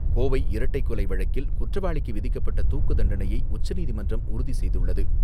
கோவை இரட்டைக் கொலை வழக்கில் குற்றவாளிக்கு விதிக்கப்பட்ட தூக்குத்தண்டனையை உச்சநீதிமன்றம் உறுதி செய்துள்ளது.